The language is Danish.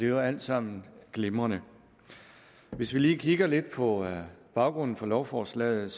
jo alt sammen glimrende hvis vi lige kigger lidt på baggrunden for lovforslaget